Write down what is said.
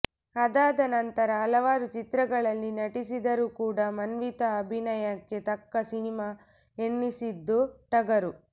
ಅದಾದ ನಂತರ ಹಲವಾರು ಚಿತ್ರಗಳಲ್ಲಿ ನಟಿಸಿದರೂ ಕೂಡ ಮಾನ್ವಿತಾ ಅಭಿನಯಕ್ಕೆ ತಕ್ಕ ಸಿನಿಮಾ ಎನ್ನಿಸಿದ್ದು ಟಗರು